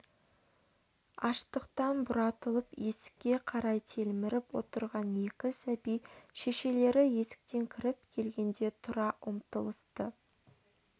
аштықтан бұратылып есікке қарай телміріп отырған екі сәби шешелері есіктен кіріп келгенде тұра ұмтылысты